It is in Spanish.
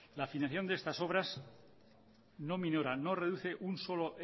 la financiación de estas obras no minoran no reduce un solo